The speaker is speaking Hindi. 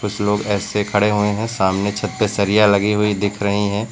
कुछ लोग ऐसे खड़े हुए हैं सामने छत पे सरिया लगी हुई दिख रही हैं।